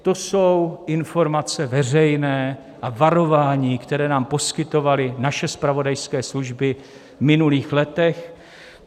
To jsou informace veřejné a varování, které nám poskytovaly naše zpravodajské služby v minulých letech.